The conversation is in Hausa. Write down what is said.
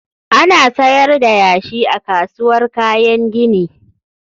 Ana sayar da yashi a kasuwar kayan gini.